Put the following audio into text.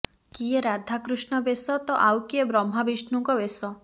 କିଏ ରାଧାକୃଷ୍ଣ ବେଶ ତ ଆଉ କିଏ ବ୍ରହ୍ମା ବିଷ୍ଣୁଙ୍କ ବେଶ